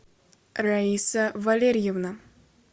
раиса валерьевна